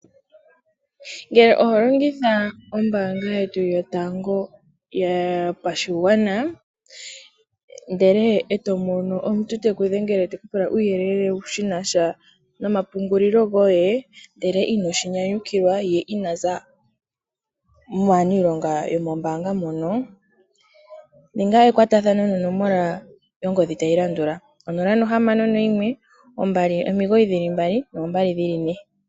Ngele oho longitha ombaanga yetu yotango yopashigwana ndele e to mono omuntu te ku dhengele te ku pula uuyelele shi na sha nomapungulilo goye, ndele inoshi nyanyukilwa ye ina za maaniilonga yomombaanga mono, ninga ekwatathano nonomola yongodhi tayi landula: 061 2992222.